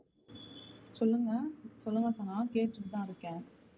சொல்லுங்க சொல்லுங்க சனா கேட்டுட்டுதான் இருக்கேன்.